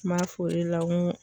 N b'a f'o de la n ko